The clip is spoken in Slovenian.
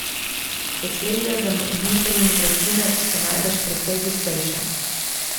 Sosledja zamrznitev in vročine so najbrž precej gostejša.